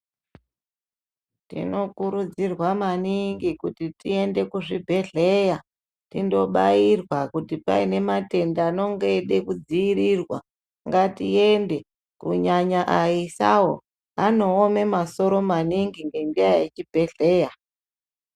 Tino kurudzirwa maningi kuti tiende kuzvibhedhlera tindobayirwa kuti painematenda anonge eide kudziirirwa ngatiende kunyanya ayisawo anowome masoro maningi ngendaa yechibhedhlera.